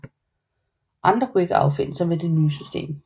Andre kunne ikke affinde sig med det nye system